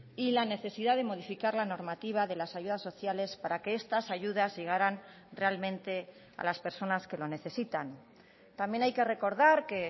y la necesidad de modificar la normativa de las ayudas sociales para que estas ayudas llegaran realmente a las personas que lo necesitan también hay que recordar que